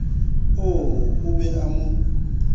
oo o be o mo